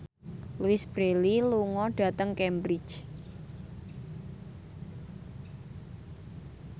Louise Brealey lunga dhateng Cambridge